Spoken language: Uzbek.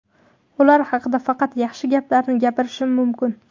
Ular haqida faqat yaxshi gaplarni gapirishim mumkin.